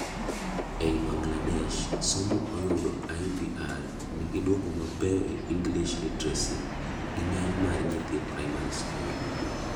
ei Bagladesh somo oyudo IVR nigi duoko mabeyo e English literacy gi geny mar nyithi primary school